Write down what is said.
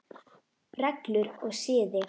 Reglur og siði